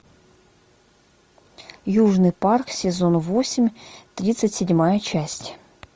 южный парк сезон восемь тридцать седьмая часть